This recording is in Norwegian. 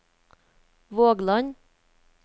Vågland